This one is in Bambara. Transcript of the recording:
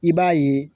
I b'a ye